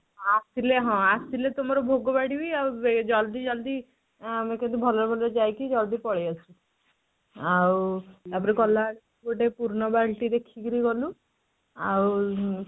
ଆସିଲେ ହଁ ଆସିଲେ ତୁମର ଭୋଗ ବାଢିବି ଆଉ ଜଲଦି ଜଲଦି ହଁ ଆମେ କେମିତି ଭଲରେ ଭଲରେ ଯାଇକି ଜଲଦି ପଳେଇ ଆସୁ ଆଉ ତାପରେ କଲା ଆସି ଗୋଟେ ପୁର୍ଣ ବାଲଟି ଦେଖକିରି ଗଲୁ ଆଉ